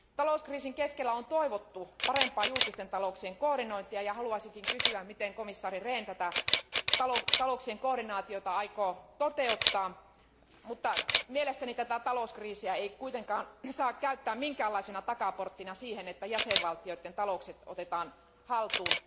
Talouskriisin keskellä on toivottu parempaa julkisten talouksien koordinointia ja haluaisinkin kysyä, miten komissaari Rehn tätä talouksien koordinaatiota aikoo toteuttaa. Mutta mielestäni tätä talouskriisiä ei kuitenkaan saa käyttää minkäänlaisena takaporttina siihen, että jäsenvaltioiden taloudet otetaan haltuun.